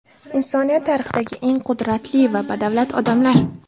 Insoniyat tarixidagi eng qudratli va badavlat odamlar .